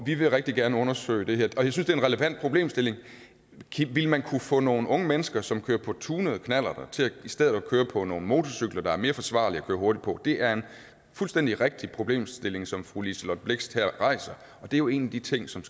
vi vil rigtig gerne undersøge det her og jeg synes det er en relevant problemstilling ville man kunne få nogle unge mennesker som kører på tunede knallerter til i stedet for at køre på nogle motorcykler der er mere forsvarlige at køre hurtigt på det er en fuldstændig rigtig problemstilling som fru liselott blixt her rejser og det er jo en af de ting som